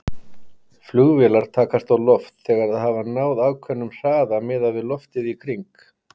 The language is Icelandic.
Flugvélar takast á loft þegar þær hafa náð ákveðnum hraða miðað við loftið í kring.